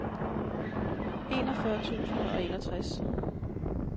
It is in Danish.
enogfyrre tusind og enogtres